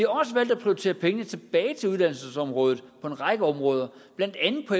også valgt at prioritere penge tilbage til uddannelsesområdet på en række områder blandt andet på